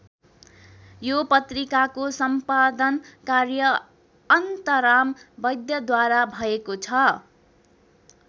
यो पत्रिकाको सम्पादन कार्य अनन्तराम वैद्यद्वारा भएको छ।